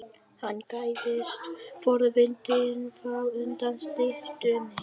Hann gægðist forvitinn fram undan styttunni.